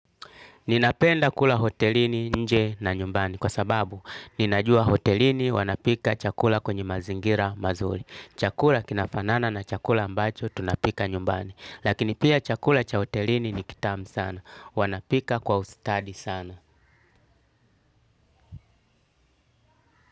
Ninapenda kula hotelini nje na nyumbani. Kwa sababu, ninajua hotelini wanapika chakula kwenye mazingira mazuri. Chakula kinafanana na chakula ambacho tunapika nyumbani. Lakini pia chakula cha hotelini ni kitamu sana. Wanapika kwa ustadi sana.